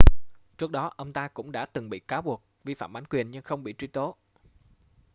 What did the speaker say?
trước đó ông ta cũng đã từng bị cáo buộc vi phạm bản quyền nhưng không bị truy tố